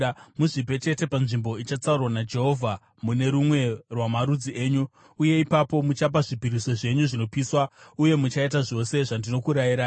Muzvipe chete panzvimbo ichatsaurwa naJehovha mune rumwe rwamarudzi enyu, uye ipapo muchapa zvipiriso zvenyu zvinopiswa uye muchaita zvose zvandinokurayirai.